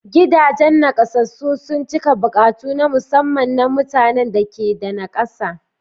Gidajen naƙasassun sun cika buƙatu na musamman na mutanen da ke da nakasa.